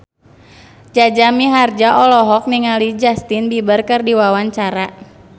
Jaja Mihardja olohok ningali Justin Beiber keur diwawancara